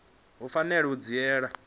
i fanela u dzhiela nzhele